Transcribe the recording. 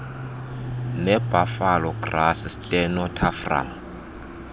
nebuffalo grass stenotaphrum